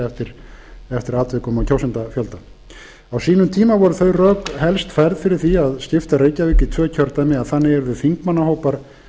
fleiri eftir atvikum og kjósendafjölda á sínum tíma voru þau rök helst færð fyrir því að skipta reykjavík í tvö kjördæmi að þannig yrðu þingmannahópar